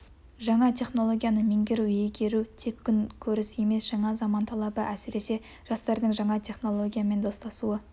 жаңа технологияны меңгеру иегеру тек күн көріс емес жаңа заман талабы әсіресе жастардың жаңа технологиямен достасуы